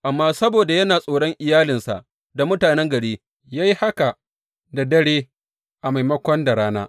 Amma saboda yana tsoron iyalinsa da mutanen gari, ya yi haka da dare a maimako da rana.